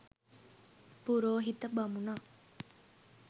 පුරෝහිත බමුණා